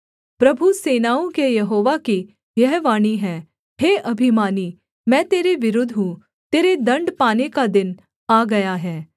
प्रभु सेनाओं के यहोवा की यह वाणी है हे अभिमानी मैं तेरे विरुद्ध हूँ तेरे दण्ड पाने का दिन आ गया है